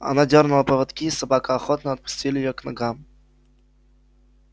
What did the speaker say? она дёрнула поводки и собака охотно отступили её к ногам